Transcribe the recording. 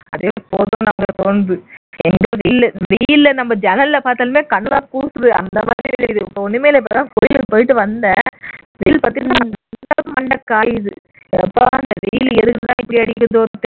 அதே போதும்னு தொணுது வெளில வெயில நம்ம ஜன்னல் வழியா பார்த்தாலுமே நம்ம கண்ணெல்லாம் கூசுது அந்த மாதிரி இருக்கு ஒண்ணுமே இல்ல இப்பதான் கோவிலுக்கு போயிட்டு வந்தேன் வெயில் பார்த்தீன்னா அந்த அளவுக்கு மண்ட காயுது யப்பா இந்த வெயில் எதுக்கு தான் இப்படி அடிக்குதோ தெரியல